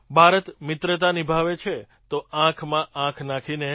ભારત મિત્રતા નિભાવે છે તો આંખમાં આંખ નાખીને